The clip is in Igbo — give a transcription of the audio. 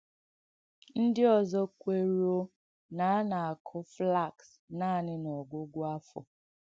Ndị ọ̀zọ̀ kwērūō na a na-àkụ́ flax nánị̀ n’ọ́gwụ̀gwụ̀ āfọ́.